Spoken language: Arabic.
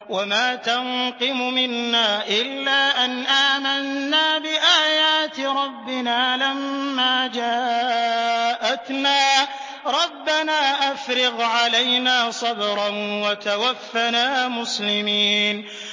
وَمَا تَنقِمُ مِنَّا إِلَّا أَنْ آمَنَّا بِآيَاتِ رَبِّنَا لَمَّا جَاءَتْنَا ۚ رَبَّنَا أَفْرِغْ عَلَيْنَا صَبْرًا وَتَوَفَّنَا مُسْلِمِينَ